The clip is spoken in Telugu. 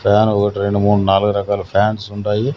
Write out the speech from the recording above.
ఫ్యాన్ ఒకటి రెండు మూడు నాలుగు ఫ్యాన్లు ఉండయి.